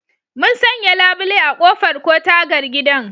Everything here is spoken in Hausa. Mun sanya labule a ƙofar ko tagar gidan